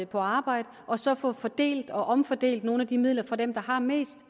på arbejde og så få fordelt og omfordelt nogle af de midler fra dem der har mest